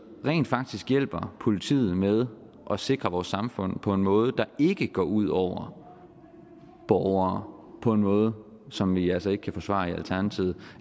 rent faktisk hjælper politiet med at sikre vores samfund på en måde der ikke går ud over borgere på en måde som vi altså ikke kan forsvare i alternativet